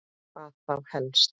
Hvað þá helst?